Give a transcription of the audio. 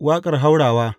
Waƙar haurawa.